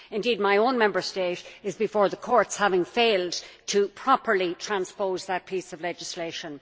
Indeed, my own Member State is before the courts, having failed to properly transpose that piece of legislation.